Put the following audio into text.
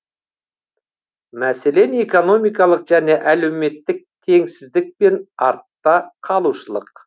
мәселен экономикалық және әлеуметтік теңсіздік пен артта қалушылық